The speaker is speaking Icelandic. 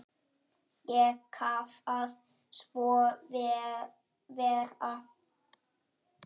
Ég kvað svo vera.